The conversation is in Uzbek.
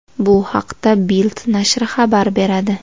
Bu haqda Bild nashri xabar beradi .